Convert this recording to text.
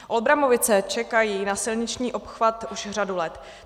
Olbramovice čekají na silniční obchvat už řadu let.